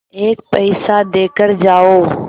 एक पैसा देकर जाओ